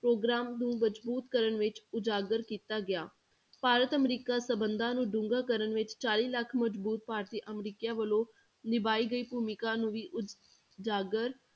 programme ਨੂੰ ਮਜ਼ਬੂਤ ਕਰਨ ਵਿੱਚ ਉਜਾਗਰ ਕੀਤਾ ਗਿਆ, ਭਾਰਤ ਅਮਰੀਕਾ ਸੰਬੰਧਾਂ ਨੂੰ ਡੂੰਘਾ ਕਰਨ ਵਿੱਚ ਚਾਲੀ ਲੱਖ ਮਜ਼ਬੂਤ ਭਾਰਤੀ ਅਮਰੀਕੀਆਂ ਵੱਲੋਂ ਨਿਭਾਈ ਗਈ ਭੂਮਿਕਾ ਨੂੰ ਵੀ ਉਜਾਗਰ